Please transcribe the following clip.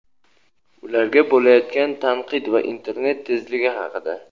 ularga bo‘layotgan tanqid va internet tezligi haqida.